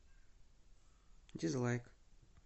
дизлайк